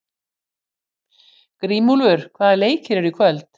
Grímúlfur, hvaða leikir eru í kvöld?